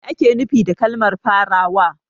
Me ake nufi da kalmar farawa?